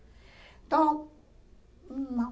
Então, não.